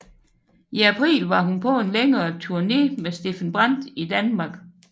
I april var hun på en længere turné med Steffen Brandt i Danmark